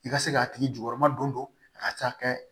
I ka se k'a tigi jukɔrɔma don a ka ca kɛ